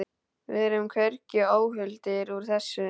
Við erum hvergi óhultir úr þessu.